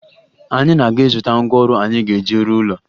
Anyị na-aga ịzụta ngwaọrụ anyị ga-eji rụọ ụlọ